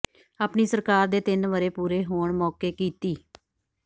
ਆਪਣੀ ਸਰਕਾਰ ਦੇ ਤਿੰਨ ਵਰ੍ਹੇ ਪੂਰੇ ਹੋਣ ਮੌਕੇ ਕੀਤੀ